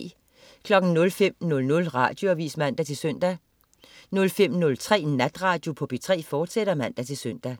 05.00 Radioavis (man-søn) 05.03 Natradio på P3, fortsat (man-søn)